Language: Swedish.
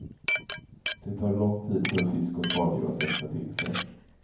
Det tar lång tid för fisk och skaldjur att växa till sig.